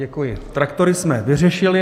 Děkuji, traktory jsme vyřešili.